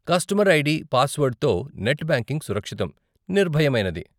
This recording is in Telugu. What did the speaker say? కస్టమర్ ఐడీ, పాస్వర్డ్తో నెట్ బ్యాంకింగ్ సురక్షితం, నిర్భయమైనది.